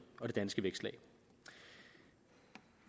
og det danske vækstlag